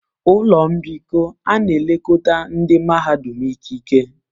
Ụlọ mbikọ a na-elekọta ndị mahadum ikike.